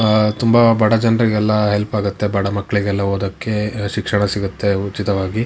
ಆ ತುಂಬಾ ಬಡಜನರಿಗೆಲ್ಲ ಹೆಲ್ಪ್ ಆಗುತ್ತೆ ಬಡ ಮಕ್ಕಳಿಗೆಲ್ಲ ಓದಕ್ಕೆ ಶಿಕ್ಷಣ ಸಿಗುತ್ತೆ ಉಚಿತವಾಗಿ .